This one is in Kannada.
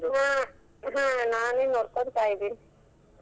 ಅಹ್ ಹಾ ನಾನೇ ನೋಡ್ಕೊಂತಾಯಿದೀನಿ.